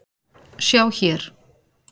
Sjá hér.